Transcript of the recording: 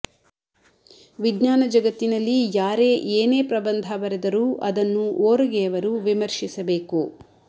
ವಿಜ್ಞಾನ ಜಗತ್ತಿನಲ್ಲಿ ಯಾರೇ ಏನೇ ಪ್ರಬಂಧ ಬರೆದರೂ ಅದನ್ನು ಓರಗೆಯವರು ವಿಮರ್ಶಿಸಬೇಕು